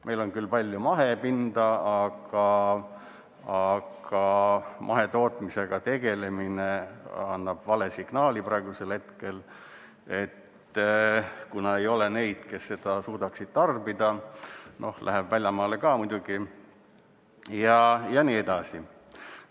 Meil on küll palju mahepinda, aga mahetootmisega tegelemine annab praegu vale signaali, kuna ei ole neid, kes seda suudaksid tarbida, seda läheb väljamaale ka muidugi jne.